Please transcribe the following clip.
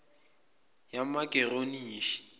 yamageronishi